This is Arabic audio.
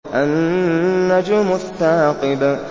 النَّجْمُ الثَّاقِبُ